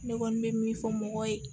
Ne kɔni bɛ min fɔ mɔgɔw ye